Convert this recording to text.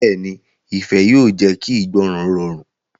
Bẹ́ẹ̀ni, ifẹ yóò jẹ ki ìgbọràn rọrun.